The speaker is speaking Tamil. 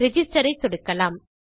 ரிஜிஸ்டர் ஐ சொடுக்கலாம்